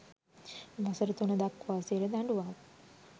වසර තුන දක්වා සිරදඬුවම්